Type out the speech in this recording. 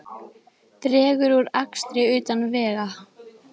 Dregur úr akstri utan vega